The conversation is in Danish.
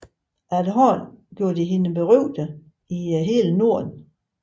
Efterhånden gjorde det hende berygtet i hele Norden